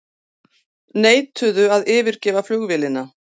Neituðu að yfirgefa flugvélina